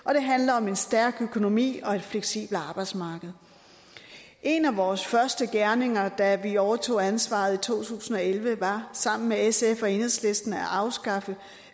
og det handler om en stærk økonomi og et fleksibelt arbejdsmarked en af vores første gerninger da vi overtog ansvaret i to tusind og elleve var sammen med sf og enhedslisten at afskaffe